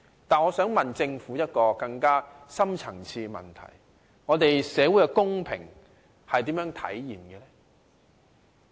但是，我想問政府一個更深層次的問題：社會的公平如何體現？